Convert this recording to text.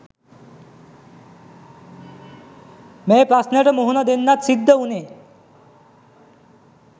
මේ ප්‍රශ්නෙට මුහුණ දෙන්න සිද්ද වුනේ